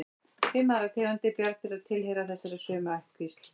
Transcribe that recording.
Fimm aðrar tegundir bjarndýra tilheyra þessari sömu ættkvísl.